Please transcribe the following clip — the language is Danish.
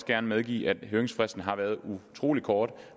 gerne medgive at høringsfristen har været utrolig kort